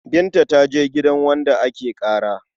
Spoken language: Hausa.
Binta ta je gidan wanda ake ƙara.